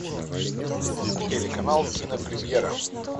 телеканал кинопремьера